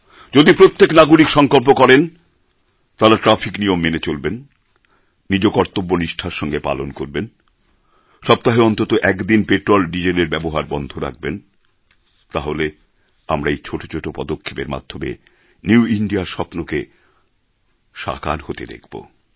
যদি প্রত্যেক নাগরিক সংকল্প করেন তাঁরা ট্র্যাফিক নিয়ম মেনে চলবেন নিজকর্তব্য নিষ্ঠার সঙ্গে পালন করবেন সপ্তাহে অন্তত একদিন পেট্রোল ডিজেল এর ব্যবহার বন্ধ রাখবেন তাহলে আমরা এই ছোটো ছোটো পদক্ষেপের মাধ্যমে নিউ ইন্দিয়া র স্বপ্নকে সাকার হতে দেখবো